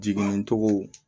Jiginni cogo